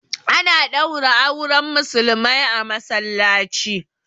A na ɗaura auren Musulmai a Masallaci